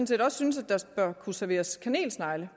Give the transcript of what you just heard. set også synes at der bør kunne serveres kanelsnegle